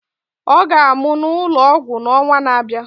Ọ ga-amụ n'ụlọ ọgwụ n'ọnwa na-abịa.